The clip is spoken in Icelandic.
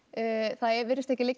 það virðist ekki liggja